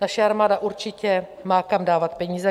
Naše armáda určitě má kam dávat peníze.